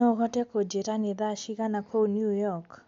no uhote kunjĩĩra ni thaa cĩĩgana kũũ new york